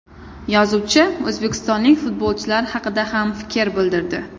Yozuvchi o‘zbekistonlik futbolchilar haqida ham fikr bildirdi.